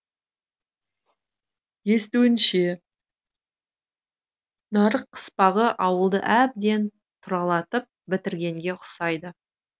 естуінше нарық қыспағы ауылды әбден тұралатып бітіргенге ұқсайды